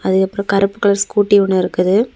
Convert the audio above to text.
அதுக்கப்புறம் கருப்பு colour scooty ஒன்னு இருக்குது.